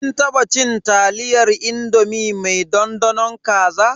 Kin taba cin taliyar indomi mai dandanon kaza.